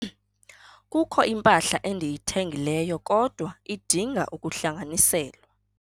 Kukho impahla endiyithengileyo kodwa idinga ukuhlanganiselwa.